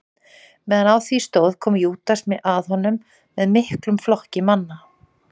Meðan á því stóð kom Júdas að honum með miklum flokki manna.